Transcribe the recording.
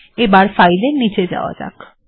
এবার ফাইলটির নীচে যাওয়া যাক